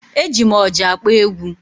E ji m ọjà akpọ egwu